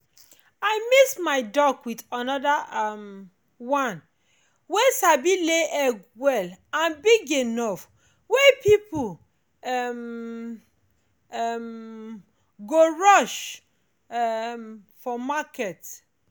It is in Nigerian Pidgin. i mix my duck with another um one wey sabi lay egg well and big enough wey people um um go rush um for market.